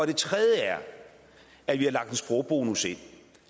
det tredje er at vi har lagt en sprogbonus ind